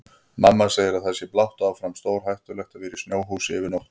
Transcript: Mamma segir að það sé blátt áfram stórhættulegt að vera í snjóhúsi yfir nótt.